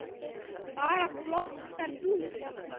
Bara flottar dúfur.